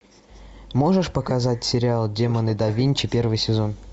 можешь показать сериал демоны да винчи первый сезон